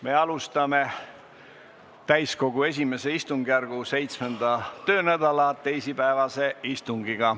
Me alustame täiskogu I istungjärgu 7. töönädala teisipäevast istungit.